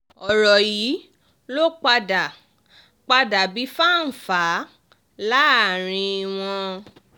um ọ̀rọ̀ yìí ló padà padà bí fá-n-fà-á láàrin wọn